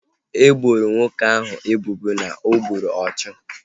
E boro nwoke ahu ebubo na o gburu ọchụ